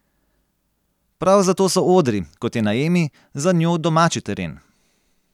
Prav zato so odri, kot je na Emi, za njo domači teren.